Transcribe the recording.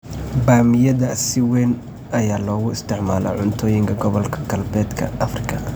Bamiyada si weyn ayaa loogu isticmaalaa cuntooyinka gobolka Galbeedka Afrika.